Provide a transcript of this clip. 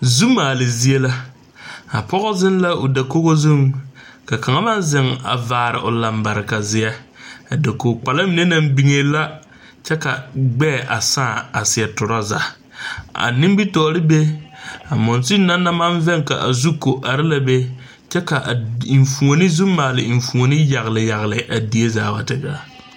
Zu maale zie la a pɔge zeŋ la o dakogo zuŋ ka kaŋ meŋ zeŋ vaare o lambarekazeɛ a dakogkpala mine naŋ biŋee la kyɛ ka gbɛɛ a sãã a seɛ torɔza a nimitɔɔre be a monsuni na naŋ maŋ vɛŋ ka a zu ko are la be kyɛ ka a enfuoni zu maale enfuoni yagle yagle a die zaa wa te gaa.